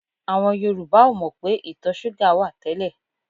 Àwùjọ Yorùbá ò mọ̀ pé ìtọ̀ súgà wà tẹ́lẹ̀